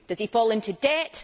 Does he fall into debt?